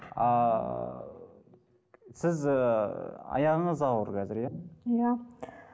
ааа сіз ыыы аяғыңыз ауыр қазір иә иә